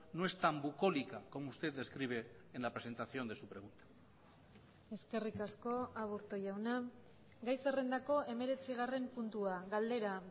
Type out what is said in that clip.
no es tan bucólica como usted describe en la presentación de su pregunta eskerrik asko aburto jauna gai zerrendako hemeretzigarren puntua galdera